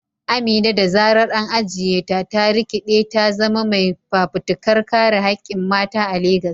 Amina, da zarar an ajiye ta, ta rikide ta zama mai fafutukar kare hakkin mata a Legas.